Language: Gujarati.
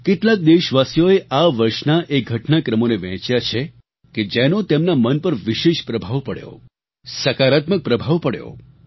કેટલાક દેશવાસીઓએ આ વર્ષના એ ઘટનાક્રમોને વહેંચ્યા છે કે જેનો તેમના મન પર વિશેષ પ્રભાવ પડ્યો સકારાત્મક પ્રભાવ પડ્યો